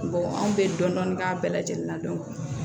anw bɛ dɔɔnin k'a bɛɛ lajɛlen na